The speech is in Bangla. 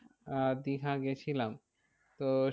আহ দীঘা গিয়েছিলাম তো সেখানে